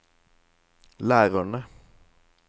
lærerne